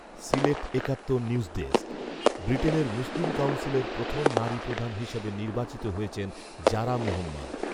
Sylhet Ekattor news desk, ব্রিটেনের মুসলিম কাউন্সিলের প্রথম নারী প্রধান হিসেবে নির্বাচিত হয়েছেন জারা মোহম্মদ